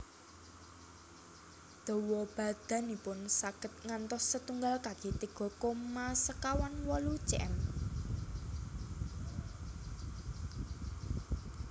Dawa badanipun saged ngantos setunggal kaki tiga koma sekawan wolu cm